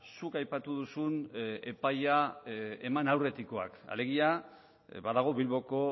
zuk aipatu duzun epaia eman aurretikoak alegia badago bilboko